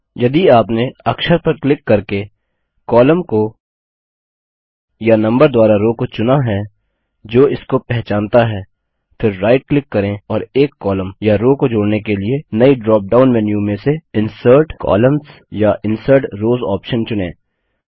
यदि आपने अक्षर पर क्लिक करके कॉलम को या नम्बर द्वारा रो को चुना है जो इसको पहचानता है फिर राइट क्लिक करें और एक कॉलम या रो को जोड़ने के लिए नई ड्रॉपडाउन मेन्यू में से इंसर्ट कोलम्न्स या इंसर्ट रॉस ऑप्शन चुनें